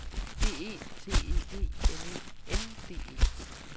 B E T E G N E N D E